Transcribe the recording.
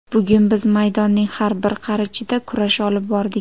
Bugun biz maydonning har bir qarichida kurash olib bordik.